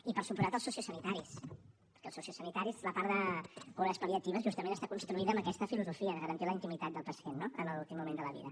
i per descomptat els sociosanitaris perquè als sociosanitaris la part de cures pal·liatives justament està construïda amb aquesta filosofia de garantir la intimitat del pacient no en l’últim moment de la vida